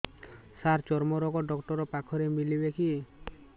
ସାର ଚର୍ମରୋଗ ଡକ୍ଟର ପାଖରେ ମିଳିବେ କି